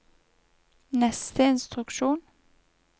neste instruksjon